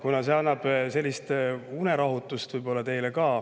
See ehk annab teile unerahutust.